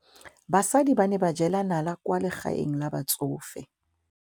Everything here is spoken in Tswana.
Basadi ba ne ba jela nala kwaa legaeng la batsofe.